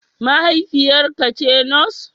Mahaifiyarka ce Nurse?